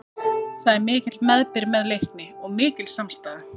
Það er mikill meðbyr með Leikni og mikil samstaða.